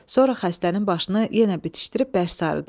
Sonra xəstənin başını yenə bitişdirib bərk sarıdı.